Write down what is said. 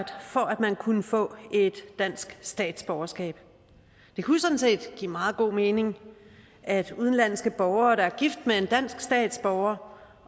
man kunne få et dansk statsborgerskab det kunne sådan set give meget god mening at udenlandske borgere der er gift med en dansk statsborger